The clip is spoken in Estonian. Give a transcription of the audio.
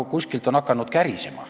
Aga kuskilt on hakanud kärisema.